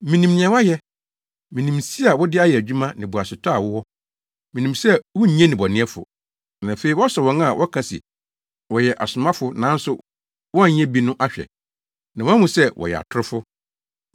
Minim nea woayɛ. Minim nsi a wode ayɛ adwuma ne boasetɔ a wowɔ. Minim sɛ wunnye nnebɔneyɛfo, na afei woasɔ wɔn a wɔka se wɔyɛ asomafo nanso wɔnnyɛ bi no ahwɛ, na woahu sɛ wɔyɛ atorofo.